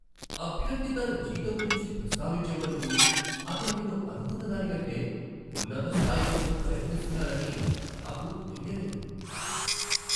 అభ్యర్థి తన జీతం గురించి ప్రస్తావించే వరకు అతను నేను అనుకున్న దానికంటే ఉన్నత స్థాయి కోసం ప్రయత్నిస్తున్నారని నాకు తెలియలేదు.